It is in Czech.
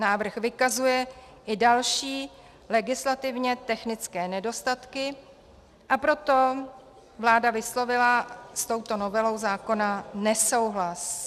Návrh vykazuje i další legislativně technické nedostatky, a proto vláda vyslovila s touto novelou zákona nesouhlas.